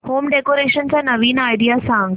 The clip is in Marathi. होम डेकोरेशन च्या नवीन आयडीया सांग